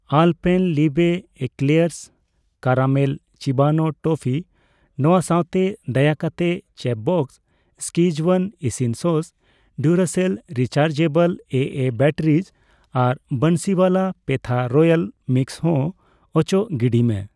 Alpenliebe eclairs caramel ᱪᱤᱵᱟᱱᱳ toffee ᱱᱚᱣᱟ ᱥᱟᱣᱛᱮ, ᱫᱟᱭᱟᱠᱟᱛᱮ ᱪᱮᱯᱷᱵᱚᱥᱥ ᱥᱠᱤᱡᱣᱟᱱ ᱤᱥᱤᱱ sauce, Duracell rechargeable AA batteries ᱟᱨ ᱵᱟᱱᱥᱤᱣᱟᱞᱟ ᱯᱮᱛᱷᱟ ᱨᱚᱭᱟᱞ ᱢᱤᱠᱥ ᱦᱚᱸ ᱚᱪᱚᱜ ᱜᱤᱰᱤᱭ ᱢᱮ ᱾